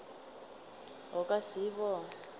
o ka se e bone